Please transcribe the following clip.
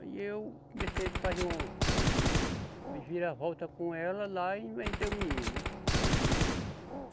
Aí eu comecei a fazer um, uma viravolta com ela lá e inventei o menino.